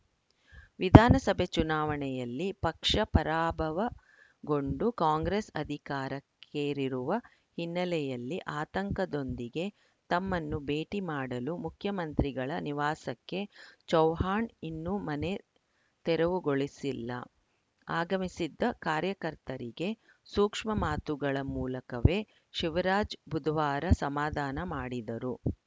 ವಿಧಾನಸಭೆ ಚುನಾವಣೆಯಲ್ಲಿ ಪಕ್ಷ ಪರಾಭವಗೊಂಡು ಕಾಂಗ್ರೆಸ್‌ ಅಧಿಕಾರಕ್ಕೇರಿರುವ ಹಿನ್ನೆಲೆಯಲ್ಲಿ ಆತಂಕದೊಂದಿಗೆ ತಮ್ಮನ್ನು ಭೇಟಿ ಮಾಡಲು ಮುಖ್ಯಮಂತ್ರಿಗಳ ನಿವಾಸಕ್ಕೆ ಚೌಹಾಣ್‌ ಇನ್ನೂ ಮನೆ ತೆರವುಗೊಳಿಸಿಲ್ಲ ಆಗಮಿಸಿದ್ದ ಕಾರ್ಯಕರ್ತರಿಗೆ ಸೂಕ್ಷ್ಮ ಮಾತುಗಳ ಮೂಲಕವೇ ಶಿವರಾಜ್‌ ಬುಧವಾರ ಸಮಾಧಾನ ಮಾಡಿದರು